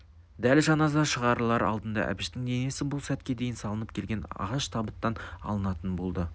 дәл жаназа шығарылар алдында әбіштің денесі бұл сәтке дейін салынып келген ағаш табыттан алынатын болды